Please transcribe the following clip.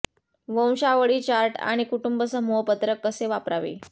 वंशावळी chart आणि कुटुंब समूह पत्रक कसे वापरावे